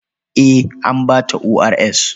Eh, an ba ta ORS.